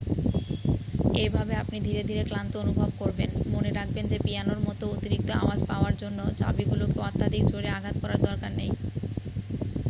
এইভাবে আপনি ধীরে ধীরে ক্লান্ত অনুভব করবেন মনে রাখবেন যে পিয়ানোর মতো অতিরিক্ত আওয়াজ পাওয়ার জন্য চাবিগুলিকে অত্যাধিক জোরে আঘাত করার দরকার নেই